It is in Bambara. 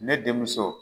Ne denmuso